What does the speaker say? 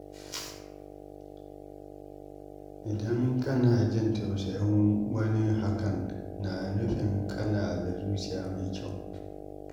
Idan kana jin tausayin wani, hakan na nufin kana da zuciya mai kyau.